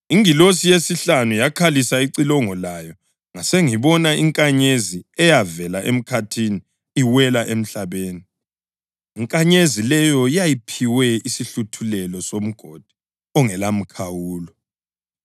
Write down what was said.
Ingilosi yesihlanu yakhalisa icilongo layo ngasengibona inkanyezi eyavela emkhathini iwela emhlabeni. Inkanyezi leyo yayiphiwe isihluthulelo soMgodi ongelamkhawulo.